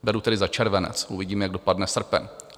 Beru tedy za červenec, uvidíme, jak dopadne srpen.